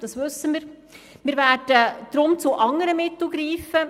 Das wissen wir, und wir werden deshalb zu anderen Mitteln greifen.